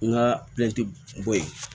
N ka bɔ yen